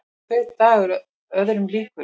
Hver dagur öðrum líkur.